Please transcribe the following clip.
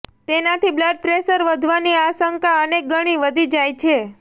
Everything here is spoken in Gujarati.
તેનાથી બ્લડ પ્રેશર વધવાની આશંકા અનેકગણી વધી જાય છે